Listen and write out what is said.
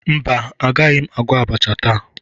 Mba, agaghị m agwọ abacha taa.